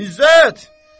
İzzət!